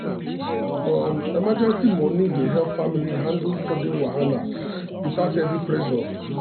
um emergency money dey help family handle sudden wahala without heavy pressure.